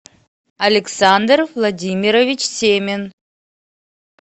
александр владимирович семин